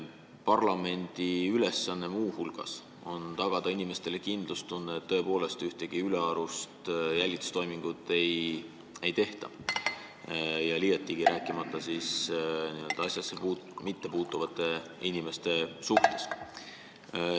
Parlamendi ülesanne on muu hulgas tagada inimestele kindlustunne, et tõepoolest ühtegi ülearust jälitustoimingut ei tehta, eriti mitte n-ö asjasse mittepuutuvate inimeste puhul.